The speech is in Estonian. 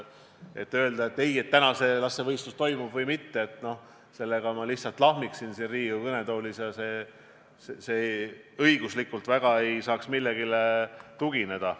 Öeldes täna, kas see laste võistlus toimub või mitte, ma lihtsalt lahmiksin siin Riigikogu kõnetoolis ja õiguslikult minu sõnad millelegi ei tugineks.